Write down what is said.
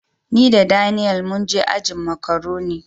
Ni da Daniel mun je ajin "macaroni ".